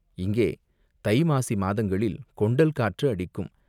இங்கே தை, மாசி மாதங்களில் கொண்டல் காற்று அடிக்கும்.